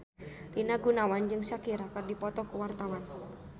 Rina Gunawan jeung Shakira keur dipoto ku wartawan